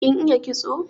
Kin iya kitso?